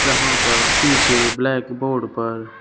जहां पर पीछे ब्लैक बोर्ड पर--